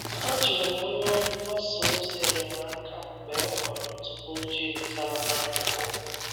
A jụrụ m onye ọrụ mgbasa ozi enyemaka mgbe m hụrụ ntụpọ ojii pụtara na akwụkwọ.